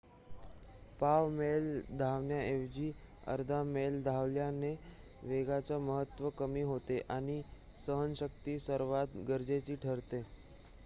पाव मैल धावण्याऐवजी अर्धा मैल धावल्याने वेगाचे महत्त्व कमी होते आणि सहनशक्ती सर्वात गरजेची ठरते